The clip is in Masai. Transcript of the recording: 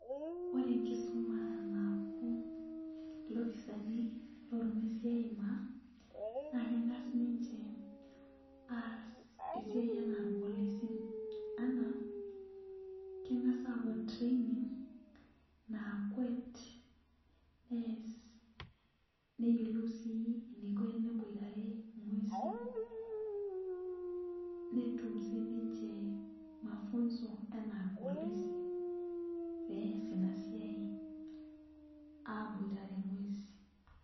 Ore enkisuma napuo lopisaanilornguesi aimaa na kengas ninche aas esiai ana irpolisi na kengasa apuo training nakwet neas neyiolou si eniko teneboitare ngwesin, netum ninche mafunzo enaa irpolisi peas inasiaai aboitare ngwesin.